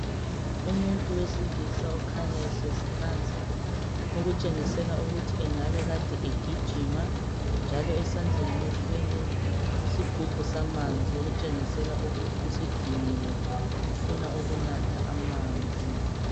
Umuntu wesilisa okhanya ehlezi phansi, ukutshengisela ukuthi engabe kade ugijima, njalo esandleni uthwele isigubhu samanzi okutshengisela ukuthi sediniwe ufuna ukunatha amanzi.